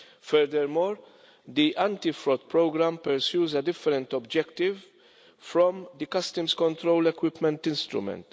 Furthermore, the Anti Fraud Programme pursues a different objective from the customs control equipment instrument.